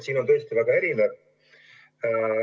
See on tõesti väga erinev.